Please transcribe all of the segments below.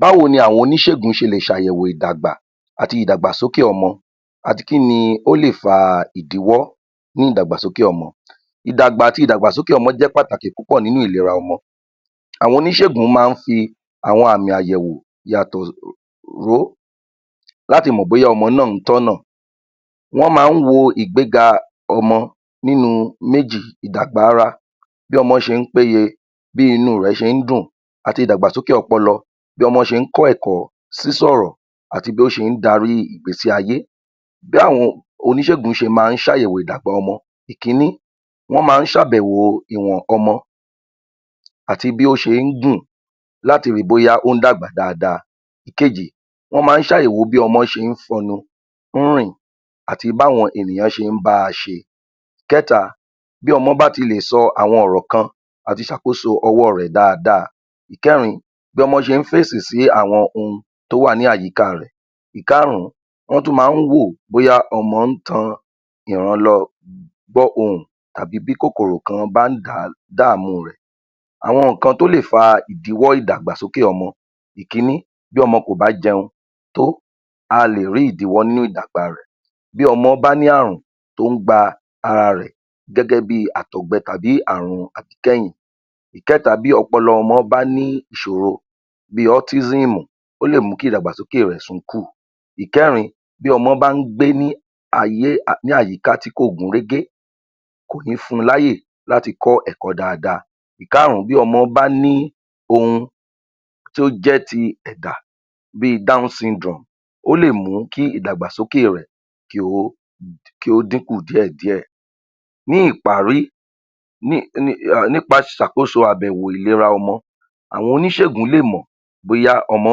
Báwo ni oníṣègùn ṣe lè ṣàyẹ̀wò ìdàgbà àti ìdàgbàsókè ọmọ àti kí ni ó lè fa ìdíwọ́ nínú ìdàgbàsókè ọmọ. Ìdàgbà àti ìdàgbàsókè ọmọ jẹ́ pàtàkì púpọ̀ nínú ìlera ọmọ, àwọn oníṣègùn máa ń fi àwọn àmì àyẹ̀wò yàtọ̀ um ró láti mọ̀ bóyá ọmọ náà ń tọ́nà, wọ́n máa ń wo ìgbéga ọmọ nínú méjì ìdàgbà ara bí ọmọ́ ṣe ń péye, bí inú rẹ̀ ṣe ń dùn àti ìdàgbàsókè ọpọlọ, bí ọmọ ṣe ń kọ́ ẹ̀kọ́, sísọ̀rọ̀ àti bí ó ṣe ń darí ìgbésí ayé. B'áwọn oníṣègùn ṣe máa ń ṣàyẹ̀wò ọmọ, ìkíní wọ́n máa ń ṣàbẹ̀wò ìwọ̀n ọmọ ọmọ àti bí ó ṣe ń gùn láti ri bóyá ó ń dàgbà dáadáa. Ìkejì wọ́n máa ń ṣ'àyẹ̀wò bí ọmọ ṣe ń fọnu, ń rìn àti b'áwọn ènìyàn ṣe ń báa ṣe. Ìkẹta, bí ọmọ bá tilèsọ àwọn ọ̀rọ̀ kan àti ṣàkóso ọwọ́ rẹ̀ dáadáa. Ìkẹrin, bí ọmọ́ ṣe ń fèsì sí àwọn ohun tó wà ní àyíká rẹ̀. Ìkarùn-ún, wọ́n tú máa ń wò bóyá tan ìran lọ gbọ́ ohùn àbí bí kòkòrò kan bá ń dàá um dààmú rẹ̀. Àwọn nǹkan tí ó lè fa ìdíwọ́ ìdàgbàsókè ọmọ, ìkíní bí ọmọ kò bá jẹun tó, a lè rí ìdíwọ́ nínú ìdàgbà rẹ̀, bí ọmọ bá ní ààrùn tó ń gba ara rẹ̀ gẹ́gẹ́ bíi àtọ̀gbẹ tàbí ààrùn àkíkẹ́yìn. Ìkẹ́ta, bí ọpọlọ ọmọ bá ní ìṣòro bíi ọ́tísíìmù, ó lè mú kí ìdàgbàsókè rẹ̀ sunkùn. Ìkẹrin Bí ọmọ bá ń gbé ní ayé um ní àyíká tí kò gún régé kò ní fún un láyè láti kọ́ ẹ̀kọ́ dáadáa. Ìkárùn-ún, bí ọmọ bá ní ohun tí ó jẹ́ ti ẹ̀dà bíi dáúnsindirọọ̀mù, ó lè mú kí ìdàgbàsókè rẹ̀ kí ó um kí ó díkùn díẹ̀díè. Ní ìparí [umum] nípaṣàkóso ìbẹ̀wò ìlera ọmọ, àwọn oníṣègùn lèmọ̀ bóyá ọmọ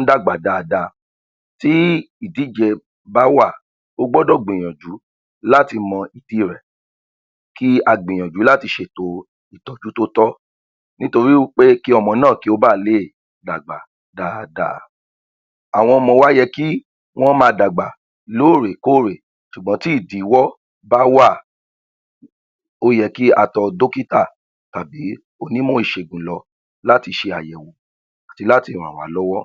ń dàgbà dáadáa, tí ìdíje bá wà o gbọ́dọ̀ gbìyànjú láti mọ ìdí rẹ̀ kí a gbìyànjú láti ṣètò ìtọ́jú tótọ́, nítorí wí pé kí ọmọ náà ba leè dàgbà dáadáa. Àwọn ọmọ wa yẹ kí wọ́n máa dàgbà lóòrèkóòrè ṣùgbọ́n tí ìdíwọ́ bá wà, ó yẹ kí a tọ dọ́kítà tàbí onímọ̀ ìṣègùn lọ láti ṣe àyẹ̀wò láti ràn wá lọ́wọ́.